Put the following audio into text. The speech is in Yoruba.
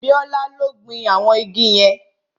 Bíọ́lá ló gbin àwọn igi yẹn